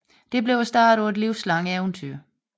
Det blev starten på et livslangt eventyr